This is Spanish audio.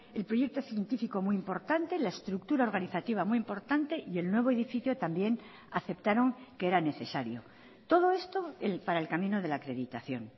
el proyecto científico muy importante la estructura organizativa muy importante y el nuevo edificio también aceptaron que era necesario todo esto para el camino de la acreditación